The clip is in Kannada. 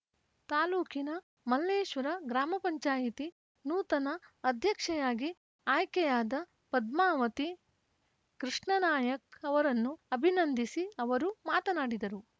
ತಾಲೂಕಿನ ಮಲ್ಲೇಶ್ವರ ಗ್ರಾಮ ಪಂಚಾಯಿತಿ ನೂತನ ಅಧ್ಯಕ್ಷೆಯಾಗಿ ಆಯ್ಕೆಯಾದ ಪದ್ಮಾವತಿ ಕೃಷ್ಣಾನಾಯಕ್ ಅವರನ್ನು ಅಭಿನಂದಿಸಿ ಅವರು ಮಾತನಾಡಿದರು